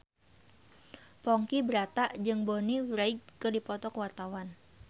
Ponky Brata jeung Bonnie Wright keur dipoto ku wartawan